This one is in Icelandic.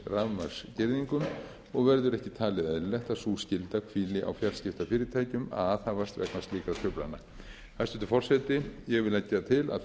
til dæmis rafmagnsgirðingum og verður ekki talið eðlilegt að sú skylda hvíli á fjarskiptafyrirtækjum að aðhafast vegna slíkra truflana hæstvirtur forseti ég vil leggja til að